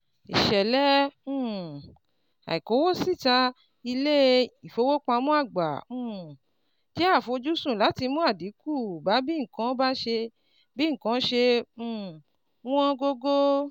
Ìṣẹ̀lẹ̀ um àìkówósíta ilé-ìfowópamọ́ àgbà um jẹ́ àfojúsùn láti mú àdínkù bá bí nǹkan bá bí nǹkan ṣe um ń wọ́n gógó.